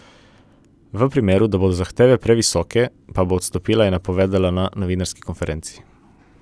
V primeru, da bodo zahteve previsoke, pa bo odstopila, je napovedala na novinarski konferenci.